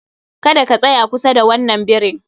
Kada ka tsaya kusa da wannan birin